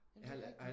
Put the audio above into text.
Men det er rigtigt